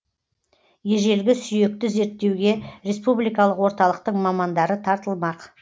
ежелгі сүйекті зерттеуге республикалық орталықтың мамандары тартылмақ